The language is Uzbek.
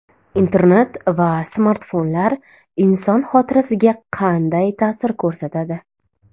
Internet va smartfonlar inson xotirasiga qanday ta’sir ko‘rsatadi?